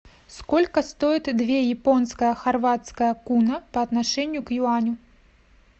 сколько стоит две японская хорватская куна по отношению к юаню